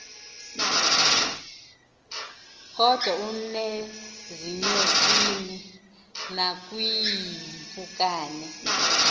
kodwa nasezinyosini nakwiimpukane